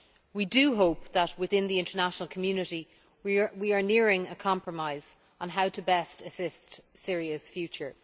We do hope that within the international community we are nearing a compromise on how to best assist Syria's future.